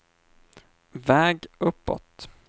väg uppåt